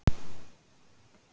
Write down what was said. Jafnvel hundarnir urðu uppgefnir.